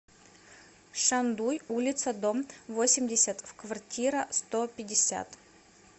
шандуй улица дом восемьдесят в квартира сто пятьдесят